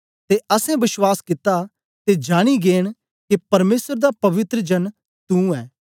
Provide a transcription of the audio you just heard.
ते असैं विश्वास कित्ता ते जानि गै न के परमेसर दा पवित्र जन तू ऐ